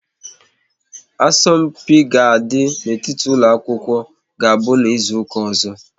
Asọmpi ga àdi n'etiti ụlọ akwụkwọ ga-abụ n'izuka ọzọ